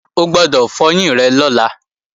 O gbọ́dọ̀ fọyín rẹ lọ́la!